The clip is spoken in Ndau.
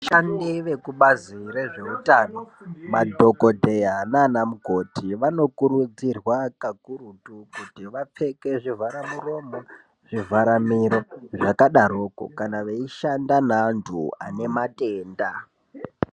Vashandi vekubazi rezvehutano madhokodheya nana mukoti vanokurudzirwa kakurutu kuti vapfeke zvivhara muromo, zvivhara miro, zvakadaroko kana veishanda nevantu vanematenda.